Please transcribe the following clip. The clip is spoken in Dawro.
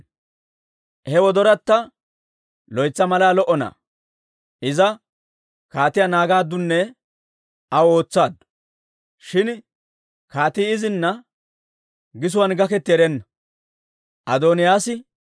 He gellayatta loytsa malaa lo"o na'aa. Iza kaatiyaa naagaaddunne aw ootsaaddu; shin kaatii izina gisuwaan gaketti erenna.